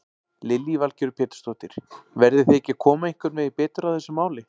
Lillý Valgerður Pétursdóttir: Verðið þið ekki að koma einhvern veginn betur að þessu máli?